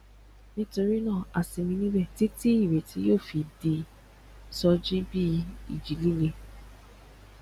nítorí náà a sinmi níbẹ títí ìrètí yóò fi di sọ jí bí ìjì líle